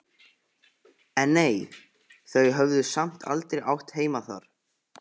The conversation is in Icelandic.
En nei, þau höfðu samt aldrei átt heima þar.